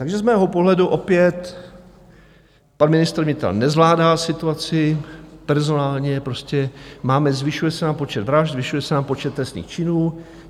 Takže z mého pohledu opět pan ministr vnitra nezvládá situaci personálně, prostě máme, zvyšuje se nám počet vražd, zvyšuje se nám počet trestných činů.